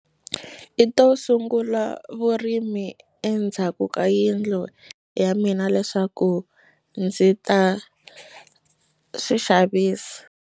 I to sungula vurimi endzhaku ka yindlu ya mina leswaku ndzi ta swi xavisa.